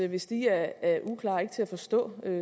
hvis de er uklare og ikke til at forstå